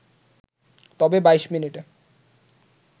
তবে ২২ মিনিটে